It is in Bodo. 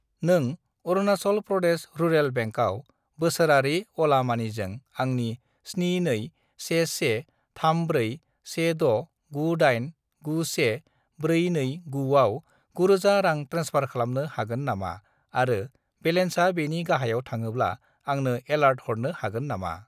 नों अरुनासल प्रदेश रुराल बेंकआव बोसोरारि अला मानिजों आंनि 721134169891429 आव 9000 रां ट्रेन्सफार खालामनो हागोन नामा आरो बेलेन्सा बेनि गाहायाव थाङोब्ला आंनो एलार्ट हरनो हागोन नामा?